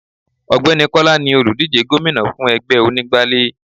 Ògbẹ́ni Kọ́lá ni òlùdíje gómìnà fún ẹgbẹ́ onígbálé.